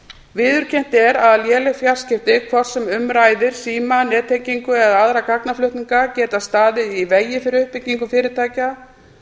viðurkennt er að léleg fjarskipti hvort sem um ræðir síma nettengingu eða aðra gagnaflutninga geta staðið í vegi fyrir uppbyggingu fyrirtækja